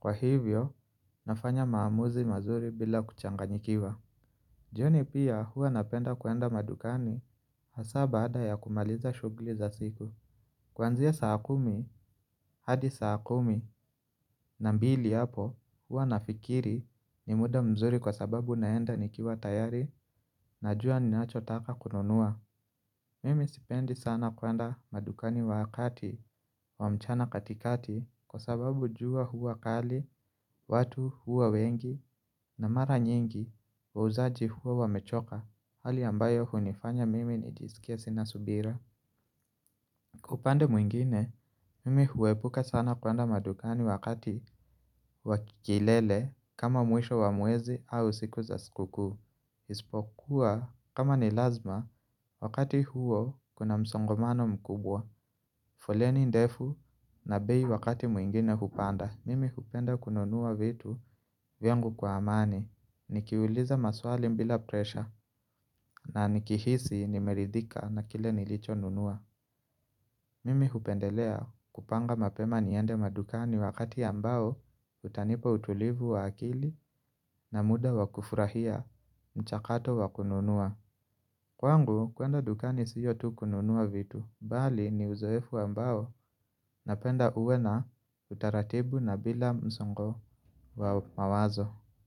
Kwa hivyo, nafanya maamuzi mazuri bila kuchanganyikiwa jioni pia hua napenda kuenda madukani hasa baada ya kumaliza shugli za siku Kwanzia saa kumi, hadi saa kumi na mbili hapo hua nafikiri ni muda mzuri kwa sababu naenda nikiwa tayari na jua ni nacho taka kununua Mimi sipendi sana kwenda madukani wakati wa mchana katikati kwa sababu jua hua kali, watu hua wengi na mara nyingi wa uzaji hua wamechoka hali ambayo hunifanya mimi nijisikia sinasubira. Kupande mwingine, mimi huwepuka sana kuanda madukani wakati wakikilele kama mwisho wa muwezi au siku za skuku. Ispokuwa kama ni lazima, wakati huo kuna msongomano mkubwa. Foleni ndefu na bei wakati mwingine hupanda. Mimi hupenda kununua vitu vyangu kwa amani. Nikiuliza maswali mbila presha na nikihisi nimeridhika na kile nilicho nunua. Mimi hupendelea kupanga mapema niende madukani wakati ambao utanipo utulivu wa akili na muda wakufurahia mchakato wakununua. Kwangu kwenda dukani siyo tu kununua vitu, bali ni uzoefu ambao napenda uwe na utaratibu na bila msongo wa mawazo.